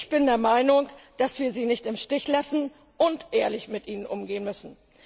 Ich bin der Meinung, dass wir sie nicht im Stich lassen dürfen und ehrlich mit ihnen umgehen müssen.